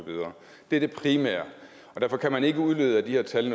det er det primære derfor kan man ikke nødvendigvis udlede af de her tal